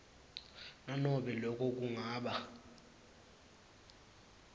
nanobe loko kungaba